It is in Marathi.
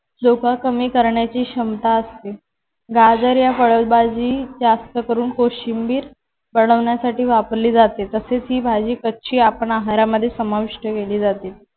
धोका कमी करण्याची क्षमता असते. गाजर या फळ भाजी जास्त करून कोशिंबीर यासाठी वापरली जाते. तसे ची भाजी कच्ची आपण आहारामध्ये समाविष्ट केली जाते.